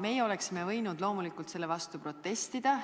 Meie oleksime võinud loomulikult selle vastu protestida,